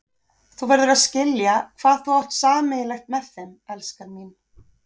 Þú verður að skilja hvað þú átt sameiginlegt með þeim, elskan mín.